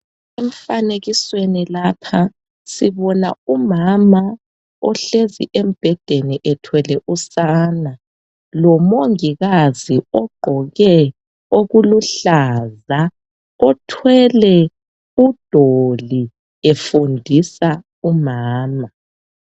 Emfanekisweni lapha sibona umama ohlezi embhedeni ethwele usana lomongikazi ogqoke okuluhlaza othwele udoli efundisa umama.